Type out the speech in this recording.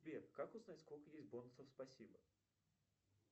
сбер как узнать сколько есть бонусов спасибо